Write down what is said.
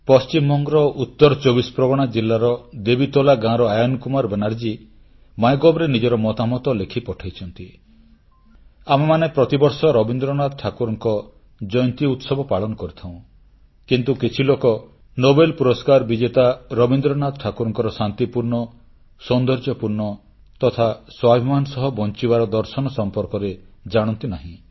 ପଶ୍ଚିମବଙ୍ଗର ଉତ୍ତର 24ପ୍ରଗଣା ଜିଲ୍ଲାର ଦେବୀତୋଲା ଗାଁର ଆୟନ୍ କୁମାର ବାନାର୍ଜୀ ମାଇଗଭ୍ ରେ ନିଜର ମତାମତ ଲେଖି ପଠାଇଛନ୍ତି ଆମେମାନେ ପ୍ରତିବର୍ଷ ରବୀନ୍ଦ୍ରନାଥ ଠାକୁରଙ୍କ ଜୟନ୍ତୀ ଉତ୍ସବ ପାଳନ କରିଥାଉଁ କିନ୍ତୁ କିଛି ଲୋକ ନୋବେଲ ପୁରସ୍କାର ବିଜେତା ରବୀନ୍ଦ୍ରନାଥ ଠାକୁରଙ୍କ ଶାନ୍ତିପୂର୍ଣ୍ଣ ସୌନ୍ଦର୍ଯ୍ୟପୂର୍ଣ୍ଣ ତଥା ସ୍ୱାଭିମାନ ସହ ବଂଚିବାର ଦର୍ଶନ ସମ୍ପର୍କରେ ଜାଣନ୍ତି ନାହିଁ